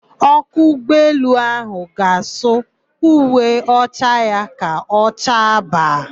Ọkwọ ụgbọelu áhụ̀ ga-asụ uwe ọcha ya ka ọ chaa baa.